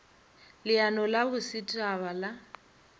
leano la boset haba la